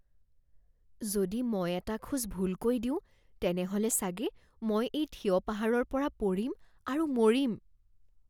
যদি মই এটা খোজ ভুলকৈ দিওঁ, তেনেহ'লে চাগে মই এই থিয় পাহাৰৰ পৰা পৰিম আৰু মৰিম।